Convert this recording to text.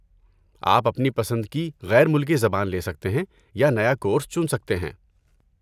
آپ اپنی پسند کی غیر ملکی زبان لے سکتے ہیں یا نیا کورس چن سکتے ہیں۔